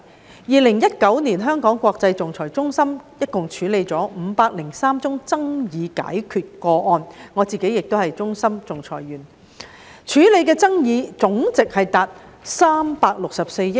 在2019年，香港國際仲裁中心一共處理503宗爭議解決個案——我自己亦是國際仲裁中心的仲裁員——處理的爭議總值達364億元。